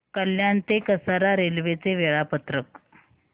कल्याण ते कसारा रेल्वे चे वेळापत्रक